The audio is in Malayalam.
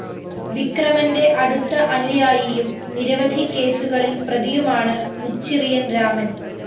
വിക്രമന്റെ അടുത്ത അനുയായിയും നിരവധി കേസുകളില്‍ പ്രതിയുമാണ് മുച്ചിറിയന്‍ രാമന്‍